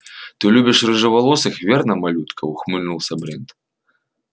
ты любишь рыжеволосых верно малютка ухмыльнулся брент